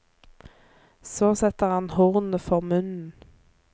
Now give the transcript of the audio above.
Så setter han hornet for munnen.